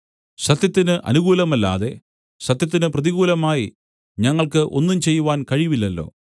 സത്യത്തിന് അനുകൂലമല്ലാതെ സത്യത്തിന് പ്രതികൂലമായി ഞങ്ങൾക്ക് ഒന്നും ചെയ്യുവാൻ കഴിവില്ലല്ലോ